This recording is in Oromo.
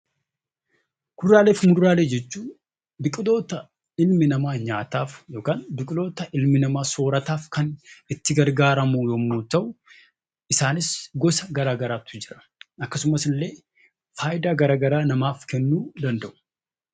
Kuduraalee fi muduraalee jechuun biqiloota ilmi namaa nyaataaf yookiin soorrataaf kan itti gargaaramu yemmuu ta'u isaanis gosa garagaraatu jira. Akkasumas faayidaa garagaraa namaaf kennuu danda'u.